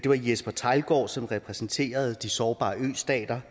var jesper theilgaard som repræsenterede de sårbare østater